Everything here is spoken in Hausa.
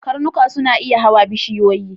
Karnuka ba su iya hawan bishiyoyi.